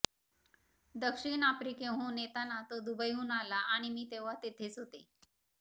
दक्षिण आफ्रिकेहून येताना तो दुबईहून आला आणि मी तेव्हा तिथेच होते